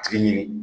Tigi ɲini